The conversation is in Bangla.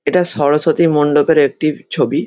এটা সরস্বতী মণ্ডপের একটি ছবি।